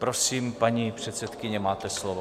Prosím, paní předsedkyně, máte slovo.